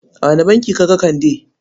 A wane banki ka ga Kande?